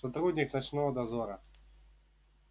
сотрудник ночного дозора